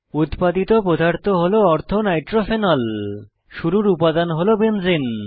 উত্পাদিত পদার্থ হল অর্থো নাইট্রোফেনল শুরুর উপাদান হল বেঞ্জিন